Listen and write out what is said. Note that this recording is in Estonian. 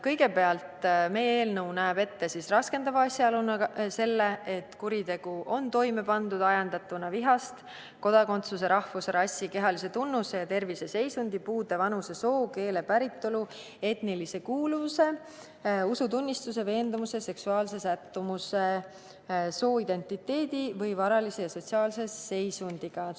Kõigepealt näeb meie eelnõu raskendava asjaoluna ette selle, et kuritegu on toime pandud ajendatuna vihast kodakondsuse, rahvuse, rassi, kehalise tunnuse, terviseseisundi, puude, vanuse, soo, keele, päritolu, etnilise kuuluvuse, usutunnistuse, veendumuste, seksuaalse sättumuse, sooidentiteedi või varalise või sotsiaalse seisundi vastu.